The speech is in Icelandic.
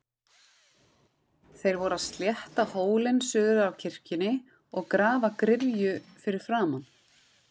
Þeir voru að slétta hólinn suður af kirkjunni og grafa gryfju fyrir framan.